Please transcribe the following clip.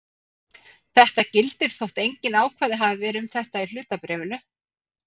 Þetta gildir þótt engin ákvæði hafi verið um þetta í hlutabréfinu.